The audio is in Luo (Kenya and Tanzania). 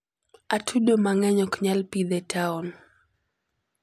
atudo mangeny oknyal pidh e town